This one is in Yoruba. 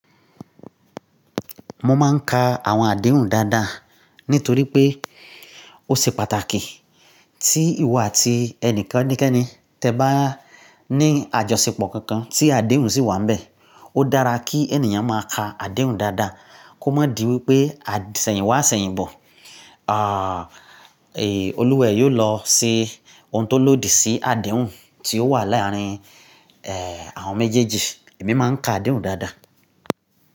Mo máa ń ka àwọn àdéhùn dáadáa nítorí pé ó ṣe pàtàkì tí ìwọ àti ẹnikẹ́ni kẹ́ni, tẹ bá ní àjọṣepọ̀ kankan tí àdéhùn sì wà níbẹ̀. Ó dára kí ènìyàn máa ka àdéhùn dáadáa kó má di wípé asẹ̀yìn wá sẹ̀yìn bọ̀, ah Olúwẹ̀ yóò lọ ṣe ohun tó lòdì sí àdéhùn tí ó wà láàárín eh àwọn méjèèjì. Èmi máa ń ka àdéhùn dáadáa.